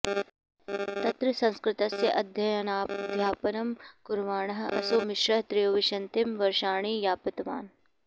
तत्र संस्कृतस्य अध्ययनाध्यापनं कुर्वाणः असौ मिश्रः त्रयोविंशतिं वर्षाणि यापितवान्